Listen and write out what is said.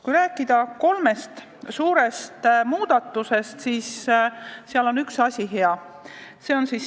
Kui rääkida kolmest suurest muudatusest, siis üks neist on hea.